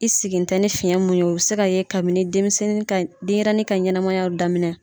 I sigi tɛ ni fiɲɛ mun ye o bi se ka ye kabini denmisɛnnin ka denyɛrɛnin ka ɲɛnɛmayaw daminɛ